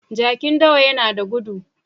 Jakin dawa yana da gudu.